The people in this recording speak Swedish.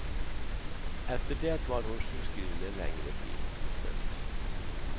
Efter det var hon sjukskriven en längre tid. punkt